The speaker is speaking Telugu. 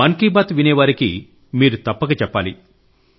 మన్ కీ బాత్ వినే వారికి మీరు తప్పక చెప్పాలి